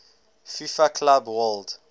fifa club world